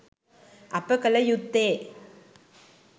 අප කළ යුත්තේ